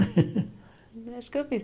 Acho que eu fiz.